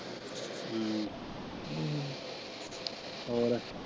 ਹਮ ਹੋਰ?